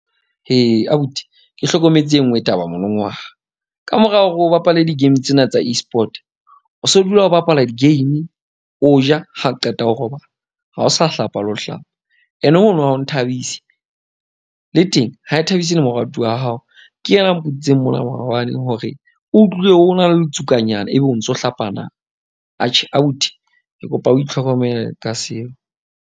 Abuti ke hlokometse enngwe taba kamora hore o bapale di-game tsena tsa Esport, o so dula ho bapala di-game. O ja ha qeta o robala ha o sa hlapa le ho hlapa. Ene ho no ha ho nthabise, le teng ha e thabise le moratuwa wa hao. Ke yena mbotsitseng mona maobane hore o utlwile ho na letsukanyana ebe o ntso hlapa na. Atjhe abuti ke kopa o itlhokomele ka seo.